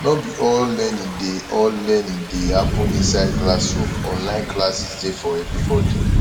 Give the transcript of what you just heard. no be all learning dey all learning dey happen inside classroom online classes dey for everybody